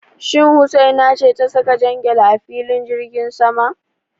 Shin Husaina ce ta saka jan gyale a filin jirgin sama?